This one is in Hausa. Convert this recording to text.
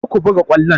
Kar ka buga ƙwallon!